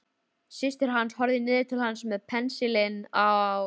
Systir hans horfði niður til hans með pensilinn á lofti.